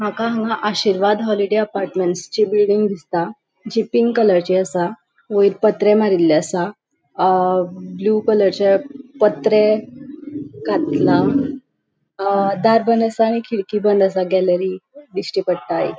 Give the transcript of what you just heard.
मका हान्गा Ashirwad holiday apartment जी बिल्डिंग दिसता जी पिंक कलरची आसा वयर पत्रे मारीले आसा अ ब्लू कलरचे पत्रे घातला अ दार बंद आसा आणि खिडकी बंद आसा गॅलरी दिश्टी पडटा एक.